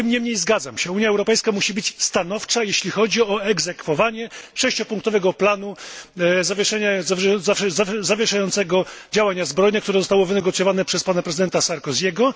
Tym niemniej zgadzam się, że Unia Europejska musi być stanowcza, jeśli chodzi o egzekwowanie sześciopunktowego planu zawieszającego działania zbrojne, który został wynegocjowany przez pana prezydenta Sarkozy'ego.